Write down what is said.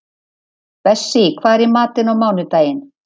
Bessí, hvað er í matinn á mánudaginn?